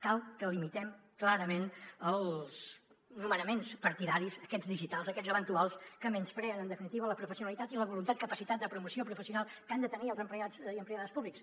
cal que limitem clarament els nomenaments partidaris aquests digitals aquests eventuals que menyspreen en definitiva la professionalitat i la voluntat capacitat de promoció professional que han de tenir els empleats i empleades públics